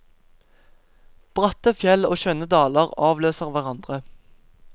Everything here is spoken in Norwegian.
Bratte fjell og skjønne daler avløser hverandre.